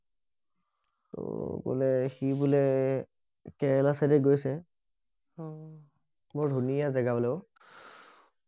কলে সি বোলে কেৰেলা চাইডে গৈছে অ বৰ ধুনীয়া বোলে জেগা অই